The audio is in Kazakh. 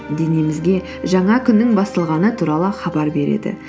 денемізге жаңа күннің басталғаны туралы хабар береді